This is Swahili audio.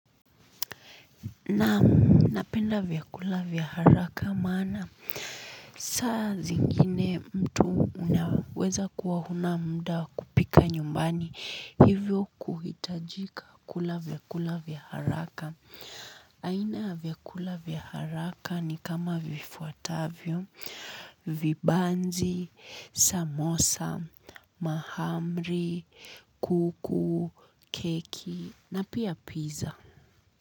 Naam napenda vyakula vya haraka maana saa zingine mtu unaweza kuwa huna muda wa kupika nyumbani hivyo kuhitajika kula vyakula vya haraka. Aina ya vyakula vya haraka ni kama vifuatavyo, vibanzi, samosa, mahamri, kuku, keki na pia pizza.